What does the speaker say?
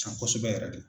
San kosɛbɛ yɛrɛ de